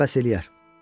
Bu mənə bəs eləyər.